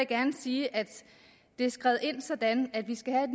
gerne sige at det er skrevet ind sådan at vi skal have et